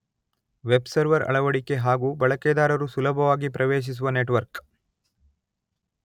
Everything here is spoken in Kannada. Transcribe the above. ವೆಬ್ ಸರ್ವರ್ ನ ಅಳವಡಿಕೆ ಹಾಗು ಬಳಕೆದಾರರು ಸುಲಭವಾಗಿ ಪ್ರವೇಶಿಸುವ ನೆಟ್ವರ್ಕ್.